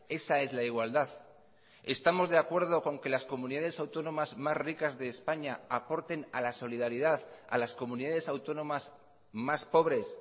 esa es la igualdad estamos de acuerdo con que las comunidades autónomas más ricas de españa aporten a la solidaridad a las comunidades autónomas más pobres